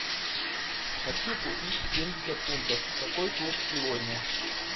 хочу купить семьдесят фунтов какой курс сегодня